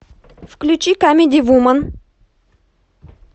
включи камеди вумен